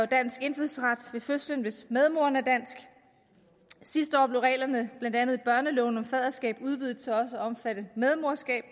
dansk indfødsret ved fødslen hvis medmoren er dansk sidste år blev reglerne blandt andet i børneloven om faderskab udvidet til også at omfatte medmoderskab